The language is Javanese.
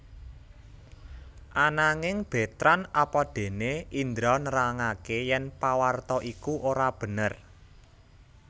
Ananging Betrand apadéné Indra nerangaké yèn pawarta iku ora bener